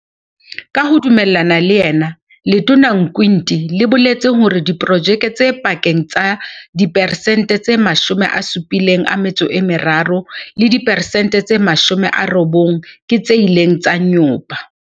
Ka ho dumellana le yena Letona Nkwinti le boletse hore diprojeke tse pakeng tsa diperesente tse 73 le diperesente tse 90 ke tse ileng tsa nyopa.